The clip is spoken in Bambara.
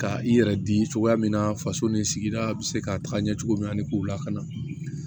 Ka i yɛrɛ di cogoya min na faso ni sigida bɛ se ka taga ɲɛ cogo min ani k'u lakana